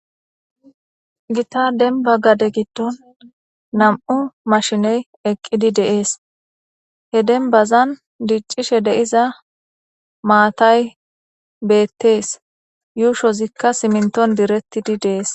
gita denba gade giddon nam7u mashiney eqqidi de'es he denbazan diiccishe de'iza maatay beettees yuushozikka siminton direttidi deees